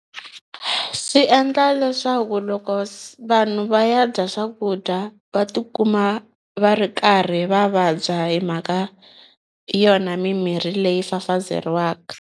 Swi endla leswaku loko vanhu va ya dya swakudya va tikuma va ri karhi va vabya hi mhaka yona mimirhi leyi fafazeriwaka.